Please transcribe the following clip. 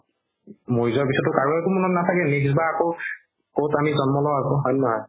মৰি যোৱাৰ পিছত কাৰো একো মনত নাথাকে নিজ বা আকৌ ক'ত আমি জন্ম পাও হয় নে নহয়